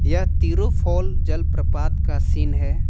यह तिरुफाल जलप्रपात का सीन है।